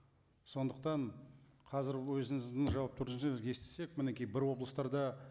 сондықтан қазір өзіңіздің жауап түріңізден естісек мінеки бір облыстарда